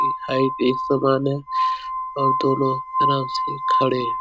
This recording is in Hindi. ये हाइट एक समान है और दो लोग आराम से खड़े है।